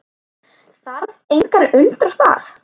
Þarf engan að undra það.